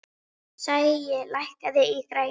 Sæi, lækkaðu í græjunum.